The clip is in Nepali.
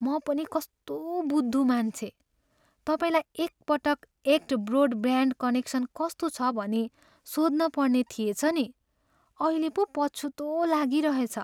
म पनि कस्तो बुद्धु मान्छे! तपाईँलाई एक पटक एक्ट ब्रोडब्यान्ड कनेक्सन कस्तो छ भनी सोध्नपर्ने थिएछ नि! अहिले पो पछुतो लागिरहेछ।